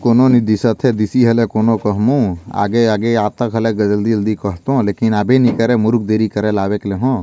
कोनो नहीं दिसत हे दिसि हले कोनो कह्मु आगे - आगे आत घले जल्दी -जल्दी करहु लेकिन अभी नी करे मुरुक देरी करे लागे करहु।